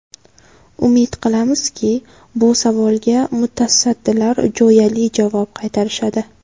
Umid qilamizki, bu savolga mutasaddilar jo‘yali javob qaytarishadi.